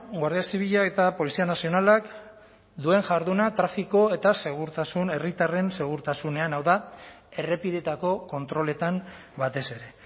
guardia zibila eta polizia nazionalak duen jarduna trafiko eta segurtasun herritarren segurtasunean hau da errepideetako kontroletan batez ere